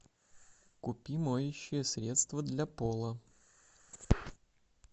купи моющее средство для пола